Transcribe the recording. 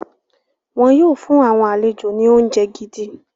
Wọn yóò fún àwọn àlejò ni oúnjẹ gidi.